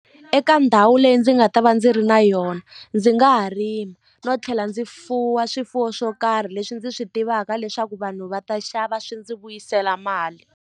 Eka ndhawu leyi ndzi nga ta va ndzi ri na yona ndzi nga ha rima no tlhela ndzi fuwa swifuwo swo karhi leswi ndzi swi tivaka leswaku vanhu va ta xava swi ndzi vuyisela mali.